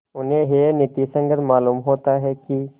उन्हें यह नीति संगत मालूम होता है कि